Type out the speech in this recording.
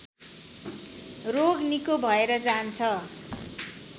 रोग निको भएर जान्छ